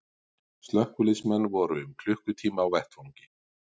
Slökkviliðsmenn voru um klukkutíma á vettvangi